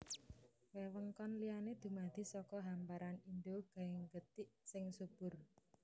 Wewengkon liyané dumadi saka hamparan Indo Gangetik sing subur